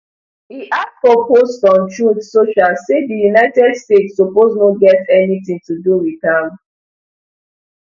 e add for post on truth social say di united states suppose no get anytin to do wit am